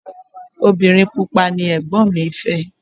Obìnrin pupa ni Ẹ̀gbọ́n mi fẹ́.